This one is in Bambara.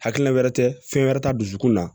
Hakilila wɛrɛ tɛ fɛn wɛrɛ ta dusukun na